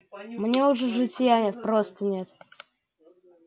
мне уже житья нет просто нет